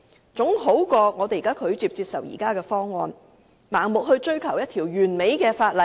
這總比拒絕接受現時的方案，盲目追求一項完美的法例好。